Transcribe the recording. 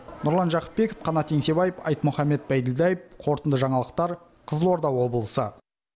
нұрлан жақыпбеков қанат еңсебаев айтмұхамед байділдаев қорытынды жаңалықтар қызылорда облысы